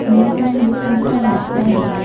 दीवार में लिखा हुआ है होटल ।